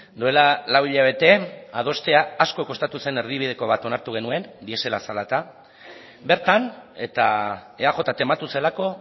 duela lau hilabete adostea asko kostatu zen erdibideko bat onartu genuen diesela zela eta bertan eta eaj tematu zelako